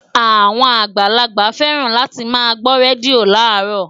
Àwọn àgbàlagbà féràn láti máa gbó rédíò láàárọ̀